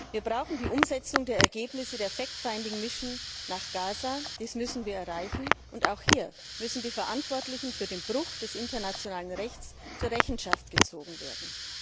Wir brauchen die Umsetzung der Ergebnisse der Fact Finding Mission nach Gaza, das müssen wir erreichen, und auch hier müssen die Verantwortlichen für den Bruch des internationalen Rechts zur Rechenschaft gezogen werden.